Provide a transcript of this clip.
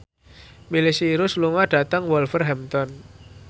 Miley Cyrus lunga dhateng Wolverhampton